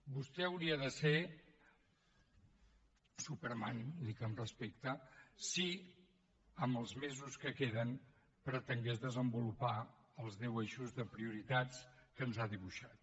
vostè hauria de ser superman ho dic amb respecte si en els mesos que queden pretengués desenvolupar els deu eixos de prioritats que ens ha dibuixat